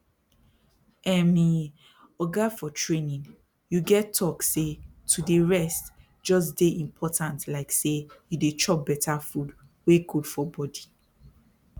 ermmy oga for training you get talk say to dey rest jus dey important like say you dey chop better food wey good for body